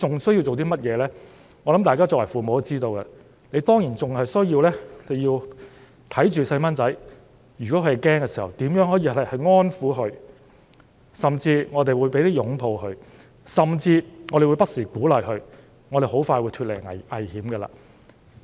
相信大家作為父母的也知道，當然還需要看顧子女，如果他們感到驚慌，便要安撫他們，甚至擁抱他們，並不時鼓勵他們說很快便會脫離危險。